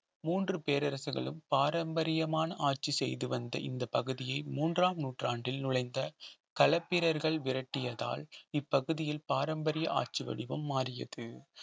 மூன்று பேரரசுகளும் பாரம்பரியமான ஆட்சி செய்து வந்த இந்தப் பகுதியே மூன்றாம் நூற்றாண்டில் நுழைந்த களப்பிரர்கள் விரட்டியதால் இப்பகுதியில் பாரம்பரிய ஆட்சி வடிவம் மாறியது